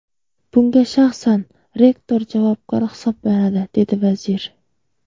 Bunga shaxsan rektor javobgar hisoblanadi”, dedi vazir.